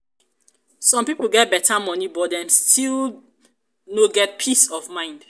some pipo get beta money but dem still dem still no get peace of mind.